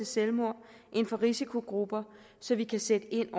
selvmord inden for risikogrupper så vi kan sætte ind